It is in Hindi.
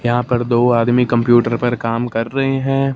यहां पर दो आदमी कंप्यूटर पर काम कर रहे हैं।